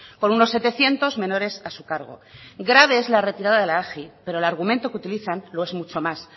con unos setecientos menores a su cargo grave es la retirada de la agi pero el argumento que utilizan lo es mucho más